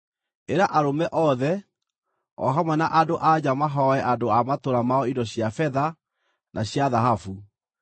Ĩra arũme othe, o hamwe na andũ-a-nja mahooe andũ a matũũra mao indo cia betha na cia thahabu.”